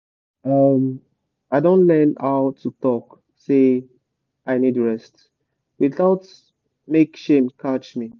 um i don learn how to talk say “i need rest” without make shame catch me